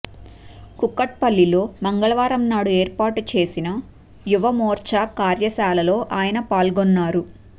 కూకట్పల్లిలో మంగళవారం నాడు ఏర్పాటు చేసిన యువమోర్చ కార్యశాలలో ఆయన పాల్గొన్నారు